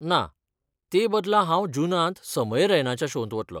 ना, ते बदला हांव जुनांत समय रैनाच्या शोंत वतलो.